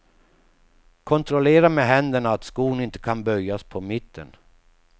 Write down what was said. Kontrollera med händerna att skon inte kan böjas på mitten.